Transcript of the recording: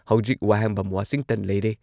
ꯍꯧꯖꯤꯛ ꯋꯥꯍꯦꯡꯕꯝ ꯋꯥꯁꯤꯡꯇꯟ ꯂꯩꯔꯦ